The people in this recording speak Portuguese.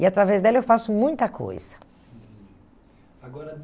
E, através dela, eu faço muita coisa. Agora